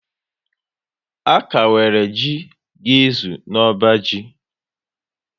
A kà nwere jị ga ezu n'ọbá ji